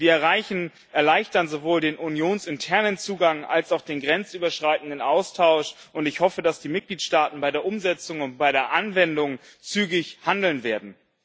Wir erleichtern sowohl den unionsinternen Zugang als auch den grenzüberschreitenden Austausch, und ich hoffe, dass die Mitgliedstaaten bei der Umsetzung und bei der Anwendung zügig handeln werden.